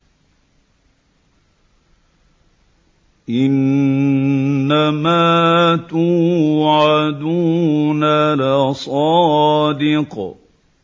إِنَّمَا تُوعَدُونَ لَصَادِقٌ